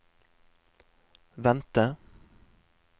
vente